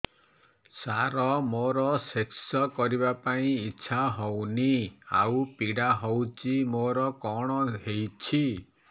ସାର ମୋର ସେକ୍ସ କରିବା ପାଇଁ ଇଚ୍ଛା ହଉନି ଆଉ ପୀଡା ହଉଚି ମୋର କଣ ହେଇଛି